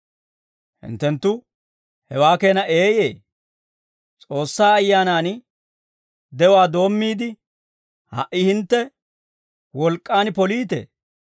Hinttenttu hewaa keena eeyee? S'oossaa Ayyaanan de'uwaa doommiide, ha"i hintte wolk'k'aan poliitee?